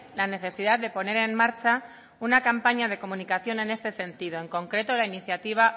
la necesidad de poner en marcha una campaña de comunicación en este sentido en concreto la iniciativa